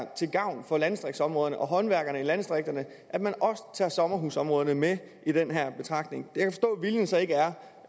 til gavn for landdistriktsområderne og håndværkerne i landdistrikterne at man også tager sommerhusområderne med i den her betragtning